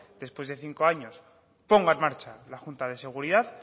después de cinco años ponga en marcha la junta de seguridad